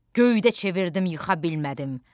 Göydə çevirdim yıxa bilmədim.